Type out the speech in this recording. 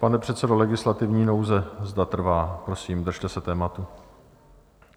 Pane předsedo, legislativní nouze, zda trvá, prosím, držte se tématu.